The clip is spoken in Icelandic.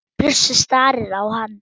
Bjössi starir á hana.